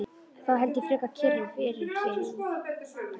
Þá held ég frekar kyrru fyrir hér í